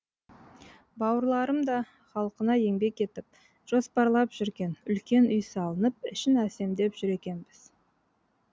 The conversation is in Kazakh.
бауырларымда халқына еңбек етіп жоспарлап жүрген үлкен үй салынып ішін әсемдеп жүр екенбіз